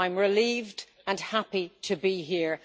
I am relieved and happy to be here.